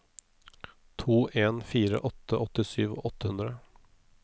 to en fire åtte åttisju åtte hundre